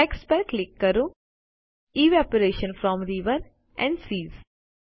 text પર click કરો evaporation from rivers and seas